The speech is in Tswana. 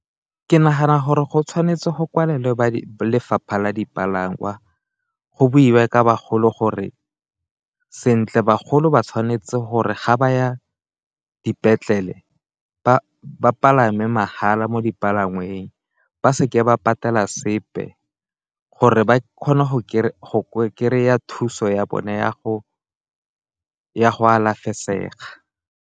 Ke nagana gore go tshwanetse go kwalelwe ba lefapha la dipalangwa, go boiwe ka bagolo gore sentle bagolo ba tshwanetse gore ga ba ya dipetlele ba palame mahala mo dipalangweng, ba seke ba patela sepe gore ba kgone go kry-a thuso ya bone ya go ya go alafesega.